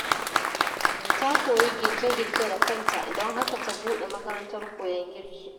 Ta koyi girke-girke da kanta, don haka ta buɗe makarantar koyon girki.